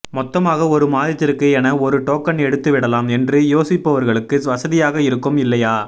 மொத்தமாக ஒரு மாதத்திற்கு என ஒரு டோக்கன் எடுத்து விடலாம் என்று யோசிப்பவர்களுக்கு வசதியாக இருக்கும் இல்லையா